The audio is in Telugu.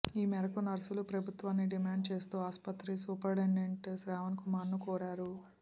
ఈ మేరకు నర్సులు ప్రభుత్వాన్ని డిమాండ్ చేస్తూ ఆస్పత్రి సూపరింటెండెంట్ శ్రావణ్ కుమార్ ను కోరారు